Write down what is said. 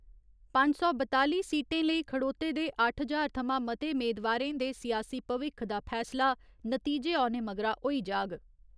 पंज सौ बताली सीटें लेई खड़ोते दे अट्ठ ज्हार थमां मते मेदवारें दे सियासी भविक्ख दा फैसला नतीजे औने मगरा होई जाग।